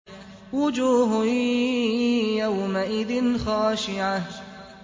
وُجُوهٌ يَوْمَئِذٍ خَاشِعَةٌ